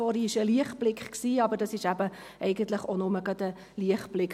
Vorher gab es einen Lichtblick, aber das ist eben auch nur gerade ein Lichtblick.